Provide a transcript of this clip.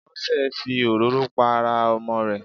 Bósè fi òróró pa ara Ọmọ rè